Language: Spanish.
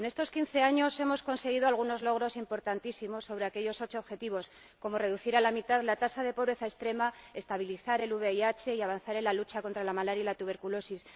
En estos quince años hemos conseguido algunos logros importantísimos sobre aquellos ocho objetivos, como reducir a la mitad la tasa de pobreza extrema, estabilizar el VIH y avanzar en la lucha contra la malaria y la tuberculosis.